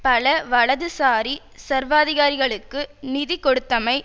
பல வலதுசாரி சர்வாதிகாரங்களுக்கு நிதி கொடுத்தமை